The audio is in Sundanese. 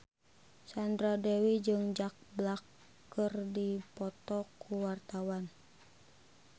Sandra Dewi jeung Jack Black keur dipoto ku wartawan